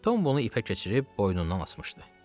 Tom bunu ipə keçirib boynundan asmışdı.